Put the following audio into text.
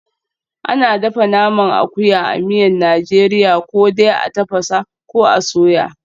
Ana dafa naman akuya a miyan Najeriya ko dai a tafasa, ko a soya.